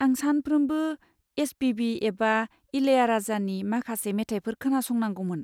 आं सानफ्रोमबो एस.पि.बि. एबा इलयाराजानि माखासे मेथाइफोर खोनासंनांगौमोन।